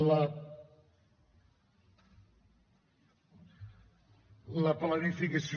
la planificació